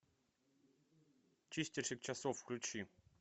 чистильщик часов включи